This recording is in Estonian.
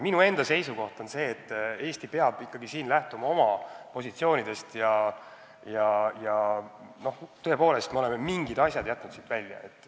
Minu enda seisukoht on see, et Eesti peab ikkagi lähtuma oma positsioonidest ja tõepoolest me oleme mingid asjad jätnud seadusest välja.